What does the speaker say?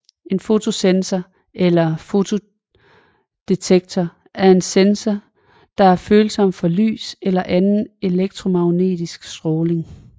En fotosensor eller fotodetektor er en sensor der er følsom for lys eller anden elektromagnetisk stråling